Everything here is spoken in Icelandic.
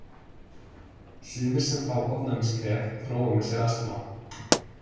Sumir sem fá ofnæmiskvef þróa með sér astma.